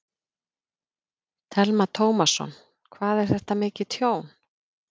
Telma Tómasson: Hvað er þetta mikið tjón?